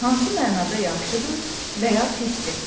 Hansı mənada yaxşıdır və ya pisdir?